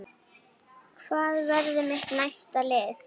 Hvað verður mitt næsta lið?